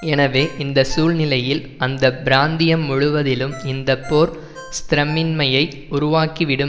எனவே இந்த சூழ்நிலையில் அந்த பிராந்தியம் முழுவதிலும் இந்த போர் ஸ்த்திரமின்மையை உருவாக்கிவிடும்